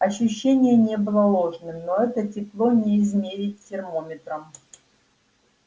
ощущение не было ложным но это тепло не измерить термометром